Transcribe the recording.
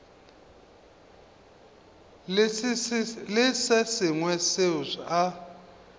le se sengwe seo a